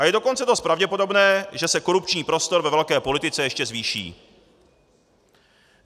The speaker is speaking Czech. A je dokonce dost pravděpodobné, že se korupční prostor ve velké politice ještě zvýší.